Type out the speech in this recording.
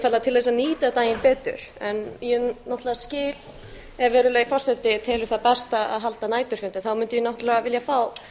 einfaldlega til þess að nýta daginn betur en ég náttúrlega skil ef virðulegi forseti telur það best að halda næturfundi þá mundi ég náttúrlega vilja fá